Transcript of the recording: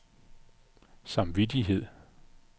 samvittighed